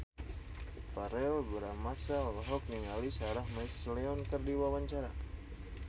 Verrell Bramastra olohok ningali Sarah McLeod keur diwawancara